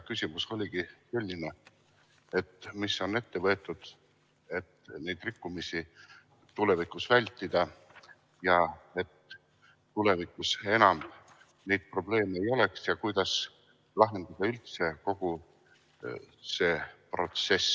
Küsimus oligi selline, mis on ette võetud, et neid rikkumisi tulevikus vältida, et enam neid probleeme ei oleks, ja kuidas lahendada üldse kogu see protsess.